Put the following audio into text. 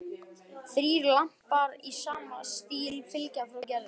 Þrír lampar í sama stíl fylgja frá Gerði.